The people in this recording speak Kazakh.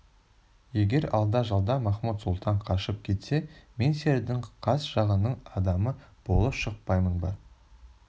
егер алда-жалда махмуд-сұлтан қашып кетсе мен сендердің қас жағыңның адамы болып шықпаймын ба